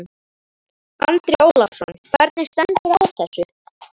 Andri Ólafsson: Hvernig stendur á þessu?